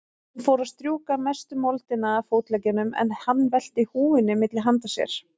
Hún fór að strjúka mestu moldina af fótleggjunum, en hann velti húfunni milli handa sér.